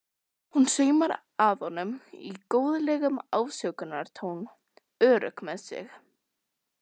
Hún saumar að honum í góðlegum ásökunartón, örugg með sig.